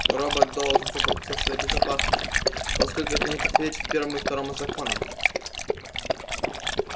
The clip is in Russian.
робот должен заботиться о своей безопасности поскольку это не противоречит первому и второму законам